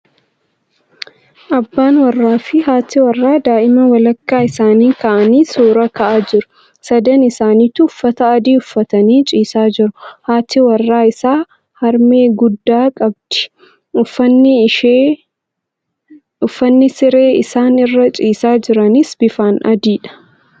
Abbaan warraa fi haati warraa daa'ima walakkaa isaanii kaa'anii suura ka'aa jiru. Sadan isaanitu uffata adii uffatanii ciisaa jiru. Haati warraa isaa harmee guddaa qabdi. Uffanni siree isaan irra ciisaa jiranis bifaan adiidha.